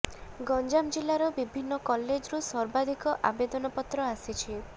ଗଞ୍ଜାମ ଜିଲ୍ଲାର ବିଭିନ୍ନ କଲେଜରୁ ସର୍ବାଧିକ ଆବେଦନ ପତ୍ର ଆସିଛି